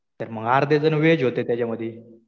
तर मग अर्धे जणं व्हेज होते त्याच्यामधी.